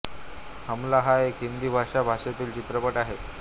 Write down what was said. हमला हा एक हिंदी भाषा भाषेतील चित्रपट आहे